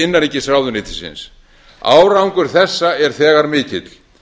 innanríkisráðuneytisins árangur þessa er þegar mikill